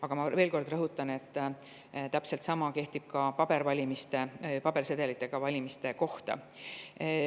Aga ma veel kord rõhutan, et täpselt sama kehtib ka pabervalimiste, pabersedelitega valimiste kohta.